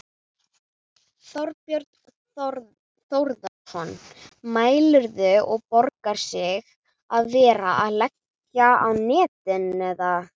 Þorbjörn Þórðarson: Mælirðu, og borgar sig að vera að leggja á netin, eða?